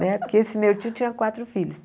Né porque esse meu tio tinha quatro filhos.